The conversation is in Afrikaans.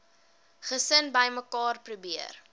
gesin bymekaar probeer